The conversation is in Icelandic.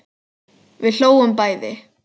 Við hlógum bæði.